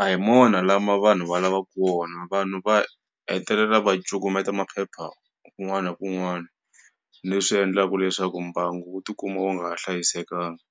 a hi mona lama vanhu va lavaku wona vanhu va hetelela va cukumeta maphepha kun'wani ni kun'wani leswi endlaku leswaku mbangu wu tikuma wu nga ha hlayisekangi.